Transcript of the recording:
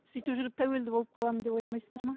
сөйтіп жүріп тәуелді болып қаламын деп ойламайсыздар ма